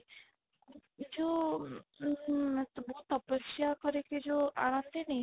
ଯୋଉ ଉଁ ବହୁତ ତପସ୍ୟା କରିକି ଯୋଉ ଆଣନ୍ତିନି